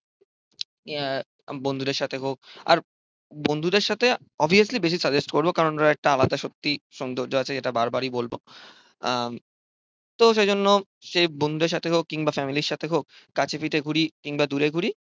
বন্ধুদের সাথে হোক। আর বন্ধুদের সাথে অবভিয়াসলি বেশি সাজেস্ট করব কারণ ওরা একটা আলাদা সত্যিই সৌন্দর্য আছে যেটা বারবারই বলবো। আহ তো সেই জন্য সে বন্ধুদের সাথে হোক কিংবা ফ্যামিলির সাথে হোক কাছে পিঠে ঘুরি কিংবা দূরে ঘুরি